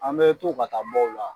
An bɛ to ka taa bɔ o la